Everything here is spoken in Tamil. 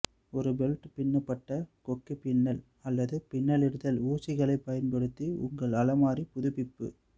ஒரு பெல்ட் பின்னப்பட்ட கொக்கிப்பின்னல் அல்லது பின்னலிடுதல் ஊசிகளைப் பயன்படுத்தி உங்கள் அலமாரி புதுப்பிப்பு